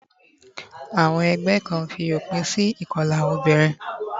Àwon egbé Kan fi òpin si ìkolà obìnrin